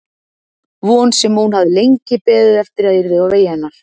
Von sem hún hafði lengi beðið eftir að yrði á vegi hennar.